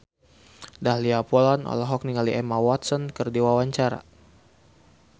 Dahlia Poland olohok ningali Emma Watson keur diwawancara